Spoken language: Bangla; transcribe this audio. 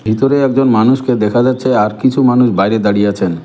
ভিতরে একজন মানুষকে দেখা যাচ্ছে আর কিছু মানুষ বাইরে দাঁড়িয়ে আছেন।